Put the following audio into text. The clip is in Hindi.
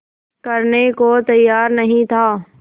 करने को तैयार नहीं था